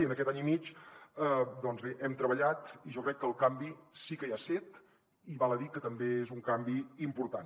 i en aquest any i mig doncs bé hem treballat i jo crec que el canvi sí que hi ha set i val a dir que també és un canvi important